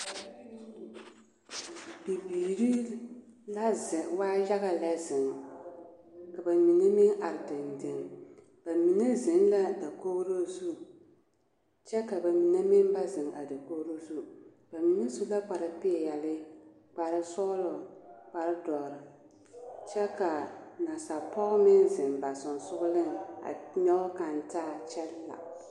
Bibiiri la zeŋ, waa yaga lɛ zeŋ ka bamine meŋ are dendeŋ. Bamine zeŋ la dakogiro zu kyɛ ka ba mine meŋ ba zeŋ a dakogiro zu, bamine su la kpare peɛle, kpare sɔgelɔ, kpare dɔre kyɛ k'a nasapɔge meŋ zeŋ ba sonsogeleŋ a nyɔge kaŋ taa kyɛ la.